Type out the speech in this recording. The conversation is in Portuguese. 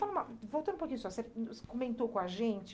Voltando um pouquinho só, você comentou com a gente...